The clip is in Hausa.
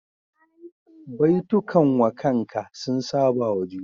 Baitukan wakanka sun saba wa juna